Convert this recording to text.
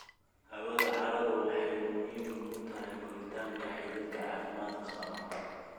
Hawada carradu waxay muhiim u tahay koritaanka xididka caafimaadka qaba.